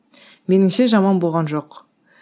меніңше жаман болған жоқ